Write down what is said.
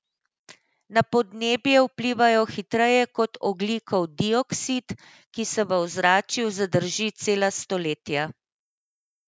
Na podnebje vplivajo hitreje kot ogljikov dioksid, ki se v ozračju zadrži cela stoletja.